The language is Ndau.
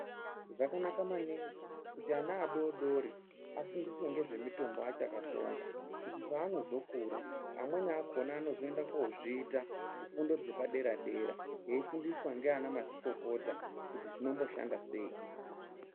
Zvakanaka maningi kuti ana adodori afundiswe ngezve mitombo achakatsonga kuti paano zokura, amweni akhona ano zoenda kozviita ,kufundo dzepadera-dera eifundiswa ndiana mazvikokota, kuti zvino mboshanda sei.